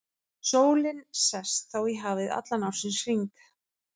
Sólin sest þá í hafið allan ársins hring.